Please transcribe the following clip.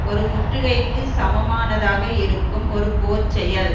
ஒரு முற்றுகைக்குச் சமமானதாக இருக்கும் ஒரு போர்ச்செயல்